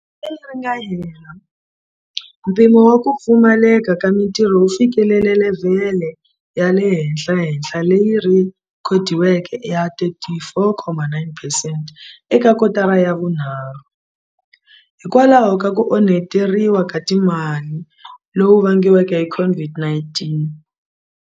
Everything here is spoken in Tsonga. Lembe leri nga hela, mpimo wa ku pfumaleka ka mitirho wu fikelele levhele ya le henhlahenhla leyi rhekhodiweke ya 34,9 percent eka kotara ya vunharhu, hikwalaho ka ku onheteriwa ka timali loku vangiweke hi COVID-19.